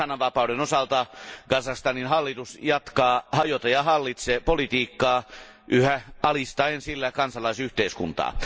Sanavapauden osalta Kazakstanin hallitus jatkaa hajota ja hallitse politiikkaa yhä alistaen sillä kansalaisyhteiskuntaa.